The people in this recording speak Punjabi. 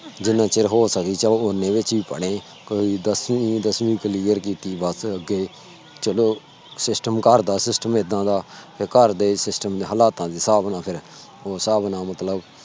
ਜਿਨ੍ਹਾਂ ਚਿਰ ਹੋ ਸਕੇ ਚਲ ਓਨੇ ਵਿਚ ਵੀ ਪੜੇ ਆ ਦਸਵੀ ਵੀ CLEAR ਕੀਤੀ। ਬਸ ਅਗੇ ਚਲੋ SYSTEM ਘਰ ਦਾ SYSTEM ਏਦਾਂ ਦਾ ਘਰ ਦੇ SYSTEM ਹਲਾਤਾਂ ਦੇ ਸਾਬ ਨਾਲ ਮਤਲਬ